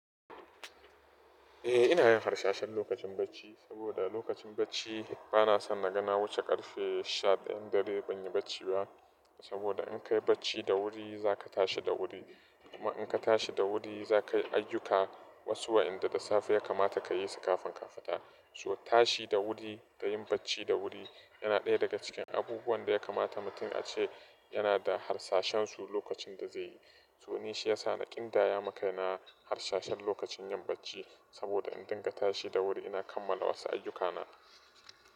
Eh ina yin harsashe lokacin bacci, saboda lokacin bacci bana son na ga na wuce karfe sha ɗayan dare ban yi bacci ba. Saboda, in kayi bacci da wuri za ka tashi da wuri. Kuma in ka tashi da wuri za ka yi ayyuka, wasu wa yanda da safe ya kamata ka yi su kafin ka fita. So tashi da wuri da yin bacci da wuri yana ɗaya daga cikin abubuwan da ya kamata mutum ace yana da harsashensu lokacin da zai yi. So ni shi ya sa ni ƙin daya maka yana harsashe lokacin yin bacci. Saboda in dinga tashi da wuri ina kammala wasu ayyukana.